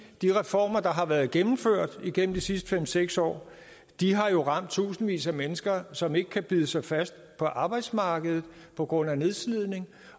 de reformer der har været gennemført igennem de sidste fem seks år har ramt tusindvis af mennesker som ikke kan bide sig fast på arbejdsmarkedet på grund af nedslidning